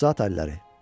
Yox, zaat alilləri.